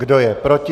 Kdo je proti?